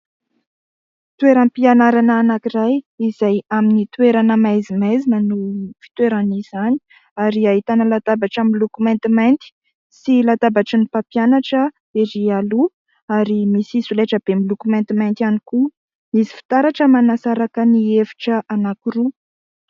Toeram-pianarana anankiray izay amin'ny toerana maizimaizina no fitoeran'izany ary ahitana latabatra miloko maintimainty sy latabatry ny mpampianatra erỳ aloha ary misy solaitra be miloko maintimainty ihany koa. Misy fitaratra manasaraka ny efitra anankiroa.